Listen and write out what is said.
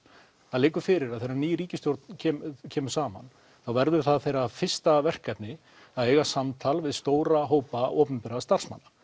það liggur fyrir að þegar ný ríkisstjórn kemur kemur saman verður það þeirra fyrsta verkefni að eiga samtal við stóra hópa opinberra starfsmanna